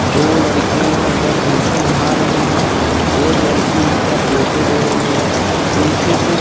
दो लड़कियां इधर नीचे नहा रही हैं एक लड़की उनका फोटो ले रही है पीछे से--